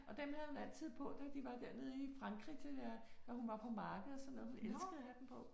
Og dem havde hun altid på da de var dernede i Frankrig til der, når hun var på marked og sådan noget. Hun elskede at have dem på